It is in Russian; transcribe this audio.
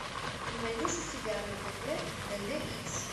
ты найдешь у себя на тв д д икс